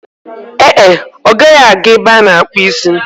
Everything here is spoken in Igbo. Ee e, ọ gaghị aga ebe ana-akpu isi